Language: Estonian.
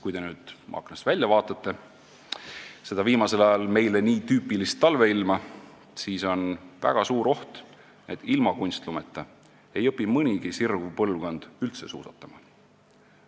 Kui te nüüd aknast välja seda viimasel ajal meile nii tüüpilist talveilma vaatate, siis on väga suur oht, et ilma kunstlumeta ei õpi nii mõnigi sirguv põlvkond üldse suusatama.